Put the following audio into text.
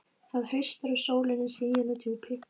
Það haustar, og sólin er sigin að djúpi.